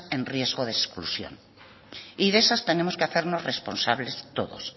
en riesgo de exclusión y de esas tenemos que hacernos responsables todos